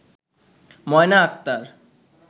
Moyna Akter